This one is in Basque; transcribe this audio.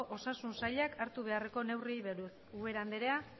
osasun saiak hartu beharreko neurriei buruz ubera andrea